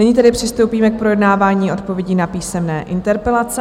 Nyní tedy přistoupíme k projednávání odpovědí na písemné interpelace.